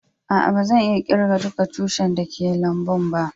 Aa, ba zan iya kirgan dukan tushin da ke a'lambun ba.